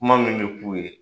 Kuma min bi k'u ye